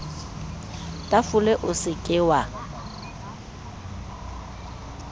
tafole o se ke wa